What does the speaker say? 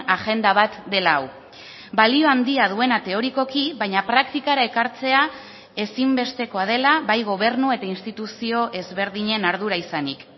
agenda bat dela hau balio handia duena teorikoki baina praktikara ekartzea ezinbestekoa dela bai gobernu eta instituzio ezberdinen ardura izanik